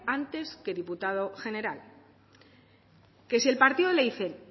antes que diputado general que si el partido le dice